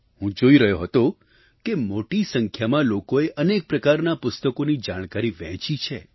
હું જોઈ રહ્યો હતો કે મોટી સંખ્યામાં લોકોએ અનેક પ્રકારના પુસ્તકોની જાણકારી વહેંચી છે